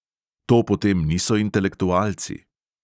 To potem niso intelektualci.